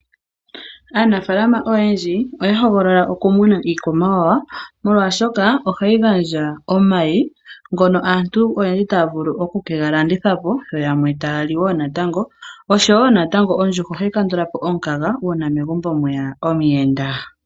Aanafaalama oyendji oya hogolola okumuna iikwamawawa, molwaashoka ohayi gandja omayi ngono aantu oyendji taya vulu okukega landithapo, yo yamwe taya li wo natango, osho wo natango ondjuhwa ohayi kandulapo omukaga uuna megumbo mweya omuyenda.